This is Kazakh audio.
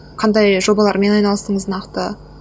қандай жобалармен айналастыңыз нақты